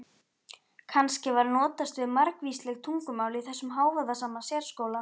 Kannski var notast við margvísleg tungumál í þessum hávaðasama sérskóla?